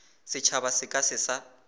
setšhaba se ka se sa